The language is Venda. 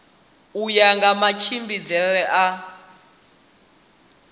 u ya nga matshimbidzele a